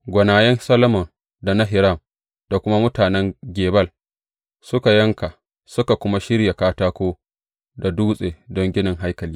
Gwanayen Solomon da na Hiram da kuma mutanen Gebal, su suka yanka, suka kuma shirya katako da dutse don ginin haikali.